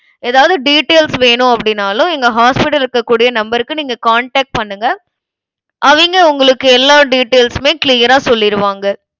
ஏதாவது details வேணும் அப்படின்னாலும் எங்க hospital ல இருக்கக்கூடிய number க்கு நீங்க contact பண்ணுங்க. அவிங்க, உங்களுக்கு எல்லா details உமே clear ஆ சொல்லிருவாங்க.